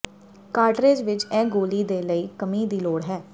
ਕਾਟਰੇਜ ਵਿੱਚ ਇਹ ਗੋਲੀ ਦੇ ਲਈ ਕਮੀ ਦੀ ਲੋੜ ਹੈ